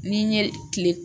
Ni n ye kile